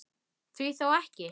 Því þá ekki?